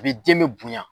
A bɛ den bɛ bonya